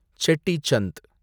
Shetty Chand